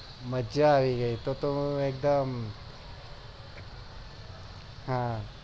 મજા આવી ગય તો તો એક દમ હા